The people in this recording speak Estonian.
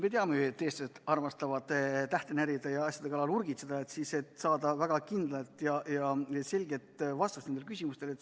Me teame ju, et eestlased armastavad tähte närida ja asjade kallal urgitseda, tahetakse saada väga kindlat ja selget vastust oma küsimustele.